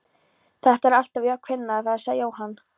Þetta er alltaf á kvennafari sagði Jóhann.